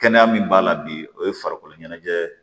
Kɛnɛya min b'a la bi o ye farikolo ɲɛnajɛ